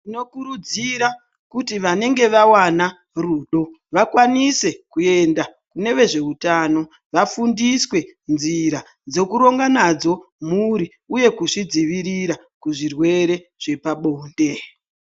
Tinokurudzira kuti vanenge vavana rudo vakwanise kuenda kune vezveutano vafundiswe nzira dzekuronga nadzo mhuri, uye kuzvidzivirira zvirwere zvepabonde.